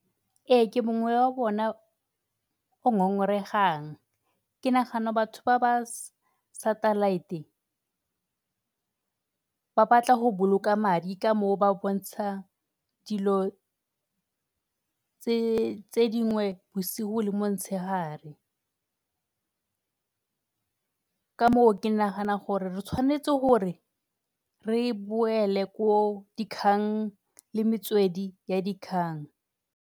Ee, ke mongwe wa bona o ngongoregang. Ke nagana batho ba ba satellite ba batla go boloka madi ka moo ba bontsha dilo tse dingwe bosigo le motshegare. Ka moo ke nagana gore re tshwanetse gore reboele ko dikgang le metswedi ya dikgang.